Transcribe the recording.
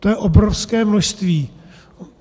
To je obrovské množství.